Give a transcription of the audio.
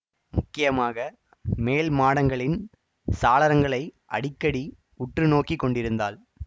முக்கியமாக மேல் மாடங்களின் சாளரங்களை அடிக்கடி உற்று நோக்கி கொண்டிருந்தாள்